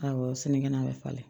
Awɔ sinikɛnɛ bɛ falen